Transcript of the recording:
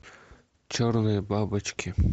черные бабочки